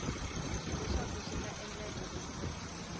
leswaku swi nga endleka ku